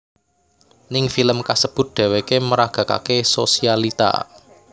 Ning film kasebut dheweké meragakaké sosialita